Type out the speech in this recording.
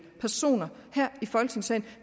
personer her i folketingssalen